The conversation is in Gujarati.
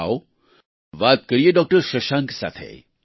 આવો વાત કરીએ ડોક્ટર શશાંક સાથે